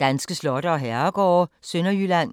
Danske slotte og herregårde: Sønderjylland